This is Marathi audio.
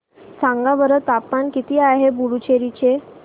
सांगा बरं तापमान किती आहे पुडुचेरी चे